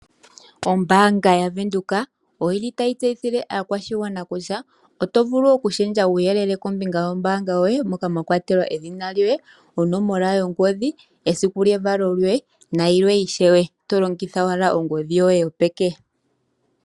Ombaanga ya venduka oyili tayi tseyithile aakwashigwana kutya oto vulu oku shendja uuyelele kombinga yo mbaanga yoye moka mwa kwa telwa edhina lyoye, onomola yongodhi, esiku lye valo lyoye, na yilwe ishewe. Tolongitha owala ongodhi yoye yo peke.